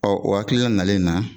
o hakilina nalen na